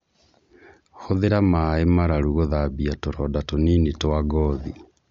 Hũthĩra maĩ mararu gũthambia tũroda tunini twa ngothi